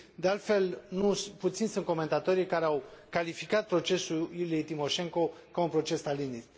De altfel, nu puțini sunt comentatorii care au calificat procesul Iuliei Timoșenko ca un proces stalinist.